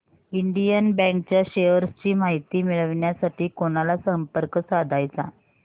Indian bank च्या shares ची माहिती मिळविण्यासाठी कोणाला संपर्क साधायचा